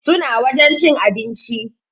Suna wajen cin abinci